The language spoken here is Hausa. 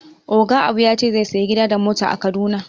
Oga Abu ya ce zai saya gida da mota a kaduna